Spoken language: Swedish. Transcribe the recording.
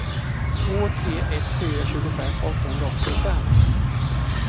två tre ett fyra tjugofem åttahundraåttiofem